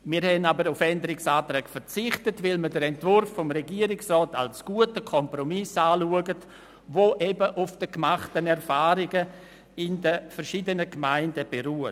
Wir haben auf Änderungsanträge verzichtet, weil wir den Entwurf des Regierungsrats als guten Kompromiss anschauen, der auf den gemachten Erfahrungen verschiedener Gemeinden beruht.